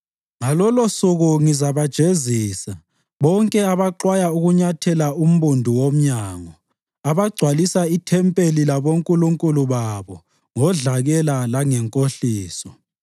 Ngalolosuku ngizabajezisa bonke abaxwaya ukunyathela umbundu womnyango, abagcwalisa ithempeli labonkulunkulu babo ngodlakela langenkohliso.”